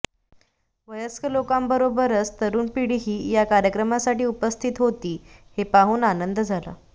वयस्क लोकांबरोबरच तरुण पिढीही या कार्यक्रमासाठी उपस्थित होती हे पाहून आनंद झाला